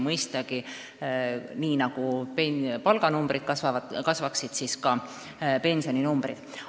Mõistagi, nii nagu palganumbrid kasvavad, kasvaksid ka pensioninumbrid.